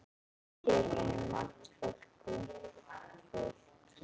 Hér vinnur margt ungt fólk.